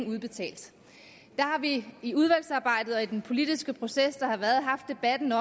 udbetalt der har vi i udvalgsarbejdet og i den politiske proces der har været haft debatten